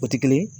O tɛ kelen ye